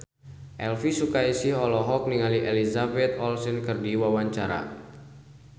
Elvy Sukaesih olohok ningali Elizabeth Olsen keur diwawancara